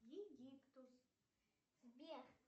египтус сбер